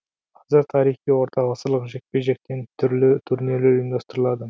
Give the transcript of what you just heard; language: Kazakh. қазір тарихи орта ғасырлық жекпе жектен түрлі турнирлер ұйымдастырылады